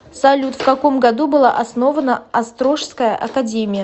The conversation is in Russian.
салют в каком году была основана острожская академия